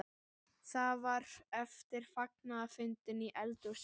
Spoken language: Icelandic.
Það var eftir fagnaðarfundina í eldhúsinu.